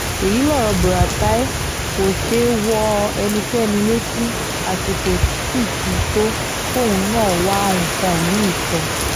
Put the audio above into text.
èyí lọ̀rọ̀ buratai kò ṣe wọ ẹnikẹ́ni létí àsìkò sì ti tó kóun náà wá nǹkan mì-ín sọ